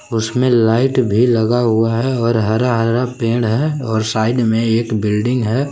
उसमें लाइट भी लगा हुआ है और हरा हरा पेड़ है और साइड में एक बिल्डिंग है।